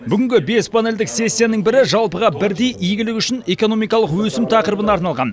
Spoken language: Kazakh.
бүгінгі бес панельдік сессияның бірі жалпыға бірдей игілік үшін экономикалық өсім тақырыбына арналған